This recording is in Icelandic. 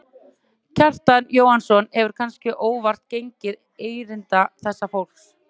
Kjartan Jóhannsson hefur, kannske óvart, gengið erinda þessa fólks.